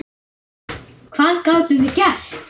Hvað gátum við gert?